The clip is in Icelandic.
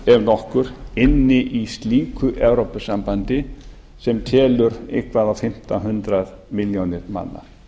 ef nokkur inni í slíku evrópusambandi sem telur eitthvað á fimmta hundrað milljónir manna